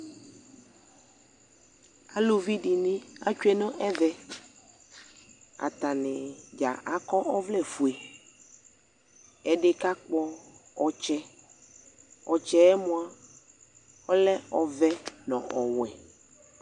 Alluvi de ne atsue no ɛvɛAtane dza akɔ ɔvlɛfue Ɛde ka kpɔ ɔtsɛƆtsɛ moa ɔlɛ ɔvɛ no ɔwɛ